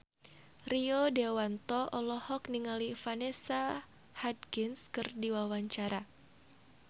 Rio Dewanto olohok ningali Vanessa Hudgens keur diwawancara